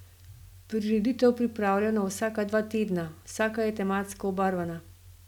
Prireditev pripravljajo na vsaka dva tedna, vsaka je tematsko obarvana.